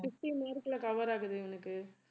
fifteen mark ல cover ஆகுது இவனுக்கு